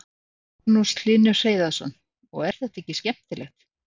Magnús Hlynur Hreiðarsson: Og er þetta ekki skemmtilegt?